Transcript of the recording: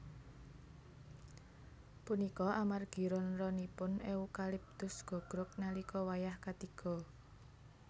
Punika amargi ron ronipun eukaliptus gogrog nalika wayah katiga